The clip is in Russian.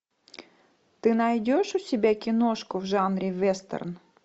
ты найдешь у себя киношку в жанре вестерн